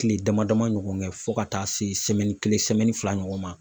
Kile dama dama ɲɔgɔn kɛ, fo ka taa se kelen fila ɲɔgɔn ma.